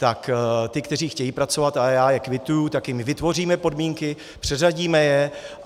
Tak ty, které chtějí pracovat, a já je kvituji, tak jim vytvoříme podmínky, přeřadíme je.